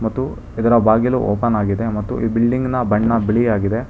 ಮತ್ತು ಇದರ ಬಾಗಿಲು ಓಪನ್ ಆಗಿದೆ ಮತ್ತು ಬಿಲ್ಡಿಂಗಿನ ಬಣ್ಣ ಬಿಳಿಯಾಗಿದೆ.